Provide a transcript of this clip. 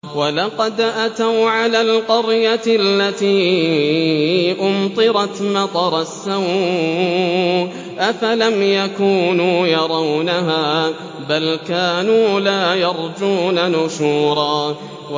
وَلَقَدْ أَتَوْا عَلَى الْقَرْيَةِ الَّتِي أُمْطِرَتْ مَطَرَ السَّوْءِ ۚ أَفَلَمْ يَكُونُوا يَرَوْنَهَا ۚ بَلْ كَانُوا لَا يَرْجُونَ نُشُورًا